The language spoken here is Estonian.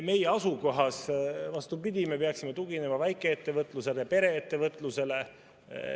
Meie asukohas, vastupidi, me peaksime tuginema väikeettevõtlusele, pereettevõtlusele.